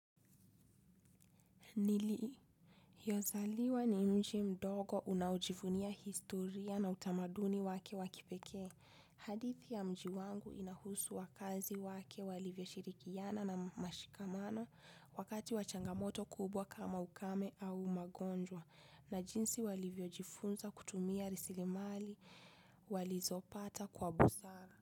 Niliyozaliwa ni mji mdogo unaojivunia historia na utamaduni wake wa kipekee. Hadithi ya mji wangu inahusu wakazi wake walivyoshirikiana na mshikamano wakati wa changamoto kubwa kama ukame au magonjwa. Na jinsi walivyojifunza kutumia rasilimali walizopata kwa busara.